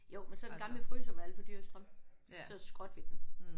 Jo men så den gamle fryser var alt for dyr i strøm. Så skrottede vi den